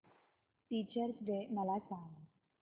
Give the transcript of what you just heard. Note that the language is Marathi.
टीचर्स डे मला सांग